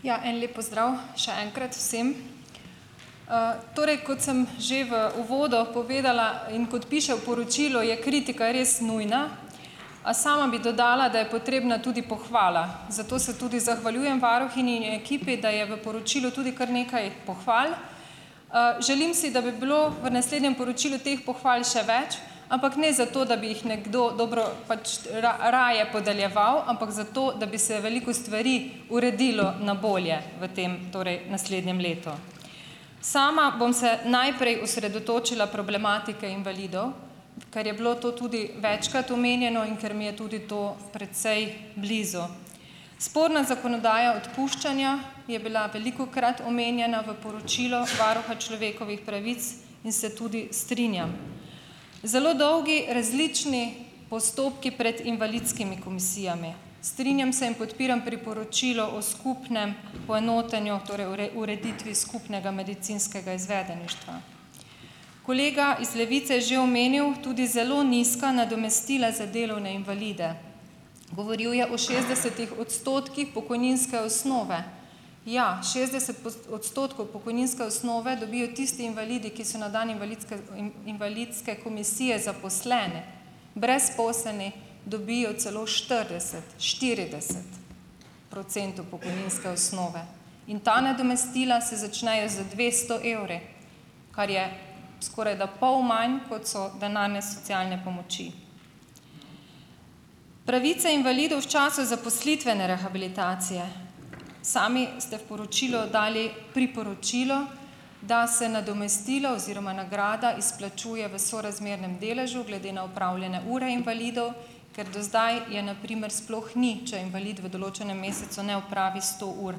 Ja, en lep pozdrav še enkrat vsem! Torej, kot sem že v uvodu povedala in kot piše v poročilu, je kritika res nujna, a sama bi dodala, da je potrebna tudi pohvala. Zato se tudi zahvaljujem varuhinji in ekipi, da je v poročilu tudi kar nekaj pohval. Želim si, da bi bilo v naslednjem poročilu teh pohval še več, ampak ne zato, da bi jih nekdo dobro pač raje podeljeval, ampak zato, da bi se veliko stvari uredilo na bolje v tem torej naslednjem letu. Sama bom se najprej osredotočila problematike invalidov, ker je bilo to tudi večkrat omenjeno in ker mi je tudi to precej blizu. Sporna zakonodaja odpuščanja je bila velikokrat omenjena v poročilu varuha človekovih pravic in se tudi strinjam. Zelo dolgi različni postopki pred invalidskimi komisijami. Strinjam se in podpiram priporočilo o skupnem poenotenju, torej ureditvi skupnega medicinskega izvedeništva. Kolega iz Levice je že omenil tudi zelo nizka nadomestila za delovne invalide. Govoril je o šestdesetih odstotkih pokojninske osnove ja, šestdeset odstotkov pokojninske osnove dobijo tisti invalidi, ki so na dan invalidske invalidske komisije zaposleni, brezposelni dobijo celo štirideset, štirideset procentov pokojninske osnove. In ta nadomestila se začnejo z dvesto evri, kar je skorajda pol manj, kot so denarne socialne pomoči. Pravice invalidov v času zaposlitvene rehabilitacije. Sami ste v poročilo dali priporočilo, da se nadomestilo oziroma nagrada izplačuje v sorazmernem deležu glede na opravljene ure invalidov, ker do zdaj je, na primer, sploh ni, če invalid v določenem mesecu ne opravi sto ur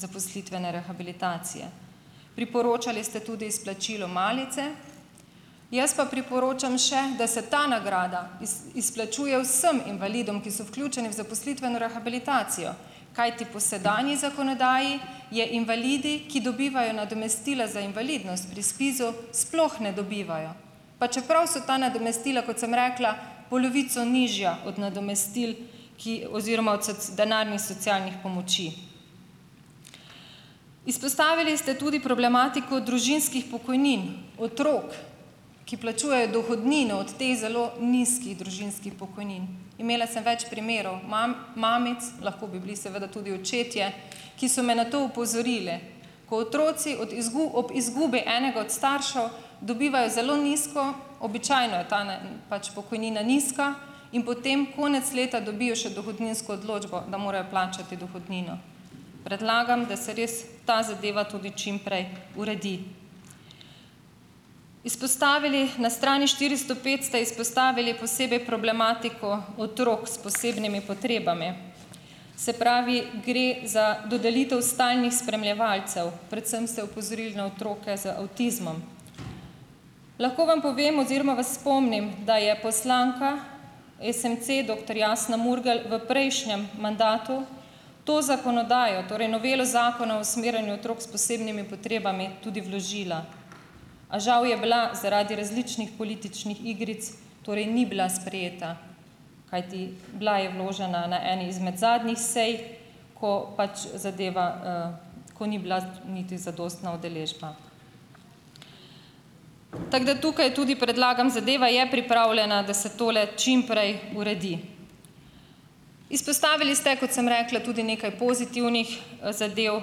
zaposlitvene rehabilitacije. Priporočali ste tudi izplačilo malice. Jaz pa priporočam še, da se ta nagrada izplačuje vsem invalidom, ki so vključeni v zaposlitveno rehabilitacijo, kajti po sedanji zakonodaji je invalidi, ki dobivajo nadomestila za invalidnost pri SPIZ-u, sploh ne dobivajo, pa čeprav so ta nadomestila, kot sem rekla, polovico nižja od nadomestil, ki oziroma od denarnih socialnih pomoči. Izpostavili ste tudi problematiko družinskih pokojnin otrok, ki plačujejo dohodnino od teh zelo nizkih družinskih pokojnin. Imela sem več primerov mam, mamici, lahko bi bili seveda tudi očetje, ki so me na to opozorile. Ko otroci od ob izgubi enega od staršev dobivajo zelo nizko, običajno je tanen pač pokojnina nizka, in potem konec leta dobijo še dohodninsko odločbo, da morajo plačati dohodnino. Predlagam, da se res ta zadeva tudi čim prej uredi. Izpostavili na strani štiristo pet ste izpostavili posebej problematiko otrok s posebnimi potrebami. Se pravi, gre za dodelitev stalnih spremljevalcev, predvsem ste opozorili na otroke z avtizmom. Lahko vam povem oziroma vas spomnim, da je poslanka SMC, doktor Jasna Murgel v prejšnjem mandatu to zakonodajo, torej novelo Zakona o usmerjanju otrok s posebnimi potrebami, tudi vložila, a žal je bila zaradi različnih političnih igric, torej ni bila sprejeta; Kajti bila je vložena na eni izmed zadnjih sej, ko pač zadeva, ko ni bila niti zadostna udeležba. Tako da tukaj tudi predlagam, zadeva je pripravljena, da se tole čim prej uredi. Izpostavili ste, kot sem rekla, tudi nekaj pozitivnih, zadev.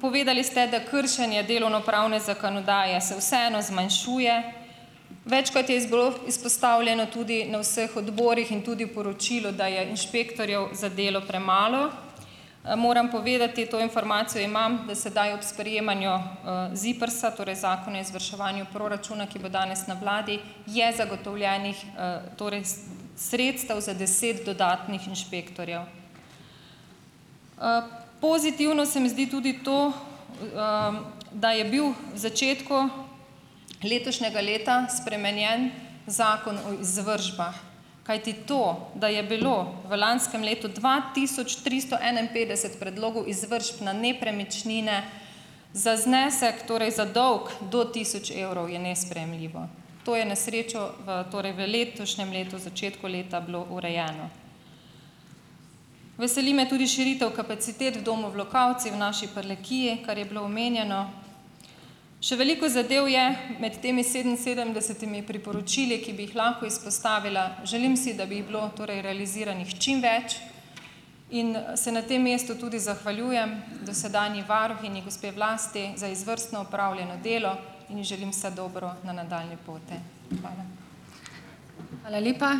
Povedali ste, da kršenje delovnopravne zakonodaje se vseeno zmanjšuje. Večkrat je iz bilo izpostavljeno tudi na vseh odborih in tudi v poročilu, da je inšpektorjev za delo premalo. Moram povedati - to informacijo imam -, da sedaj ob sprejemanju, ZIPRS-a, torej Zakona izvrševanju proračuna ki, bo danes na vladi, je zagotovljenih, torej sredstev za deset dodatnih inšpektorjev. Pozitivno se mi zdi tudi to, da je bil v začetku letošnjega leta spremenjen Zakon o izvršbah, kajti to, da je bilo v lanskem letu dva tisoč tristo enainpetdeset predlogov izvršb na nepremičnine za znesek, torej za dolg do tisoč evrov, je nesprejemljivo. To je na srečo v torej v letošnjem letu, v začetku leta bilo urejeno. Veseli me tudi širitev kapacitet v Domu v Lukavci v naši Prlekiji, kar je bilo omenjeno. Še veliko zadev je med temi sedeminsedemdesetimi priporočili, ki bi jih lahko izpostavila. Želim si, da bi jih bilo torej realiziranih čim več. In, se na tem mestu tudi zahvaljujem dosedanji varuhinji, gospe Vlasti za izvrstno opravljeno delo in ji želim vse dobro na nadaljnji poti. Hvala.